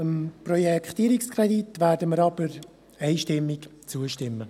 Dem Projektierungskredit werden wir jedoch einstimmig zustimmen.